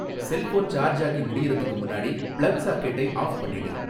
cellphone சார்ஜாகி முடியறதுக்கு முன்னாடி பிளக் சாக்கெட்டை ஆஃப் பண்ணிடு